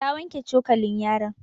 Ta wanke cokalin yaron.